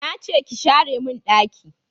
Na ce ki share mun daki